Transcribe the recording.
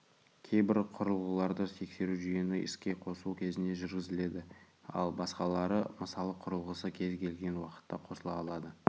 кейбір құрылғыларды тексеру жүйені іске қосу кезінде жүргізіледі ал басқалары мысалы құрылғысы кез-келген уақытта қосыла алады